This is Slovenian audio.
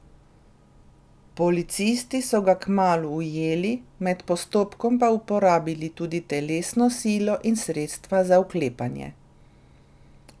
Policisti so ga kmalu ujeli, med postopkom pa uporabili tudi telesno silo in sredstva za vklepanje.